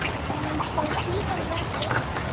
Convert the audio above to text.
Sjáumst þó síðar verði.